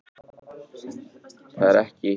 Það er ekki langt að fara.